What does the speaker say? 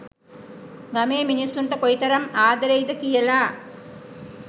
ගමේ මිනිස්සුන්ට කොයිතරම් ආදරෙයි ද කියලා